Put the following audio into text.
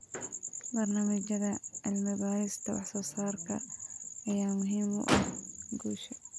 Barnaamijyada cilmi-baarista wax-soo-saarka ayaa muhiim u ah guusha.